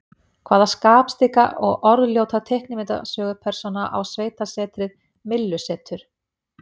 Hvaða skapstygga og orðljóta teiknimyndasögupersóna á sveitasetrið Myllusetur?